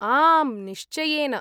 आम्, निश्चयेन!